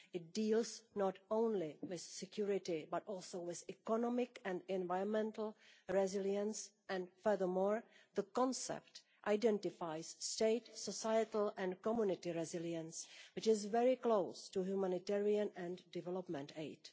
It deals not only with security, but also with economic and environmental resilience and, furthermore, the concept identifies state, societal and community resilience, which is closely linked to humanitarian and development aid.